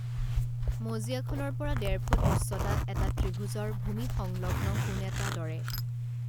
মজিয়াখনৰ পৰা ডেৰফুট উচ্চতাত এটা ত্ৰিভুজৰ ভূমিসংলগ্ন কোণ এটা দৰে